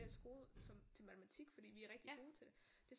Til matematik fordi vi er rigtig gode til det